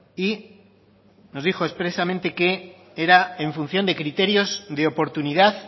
y nos dijo expresamente que era en función de criterios de oportunidad